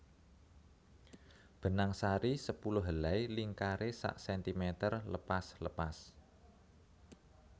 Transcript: Benangsari sepuluh helai lingkare sak sentimeter lepas lepas